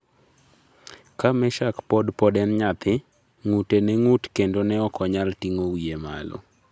Ka Meshack pod pod en nyathi, ng'ute ne ng'ut kendo ne ok onyal ting'o wiye malo.